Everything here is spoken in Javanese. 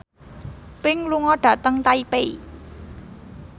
Pink lunga dhateng Taipei